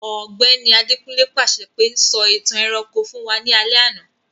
Ògbẹ́ni Adekunle pàṣẹ pe, 'Sọ ìtàn ẹranko fun wa ni alẹ́ àná'